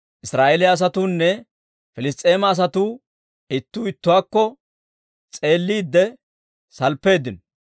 Israa'eeliyaa asatuunne Piliss's'eema asatuu ittuu ittuwaakko s'eelliide salppeeddino.